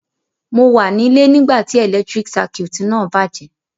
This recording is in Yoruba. Mo wa nílé nígbàtí electric circuit náà bàjẹ́